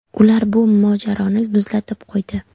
Ular bu mojaroni muzlatib qo‘ydi.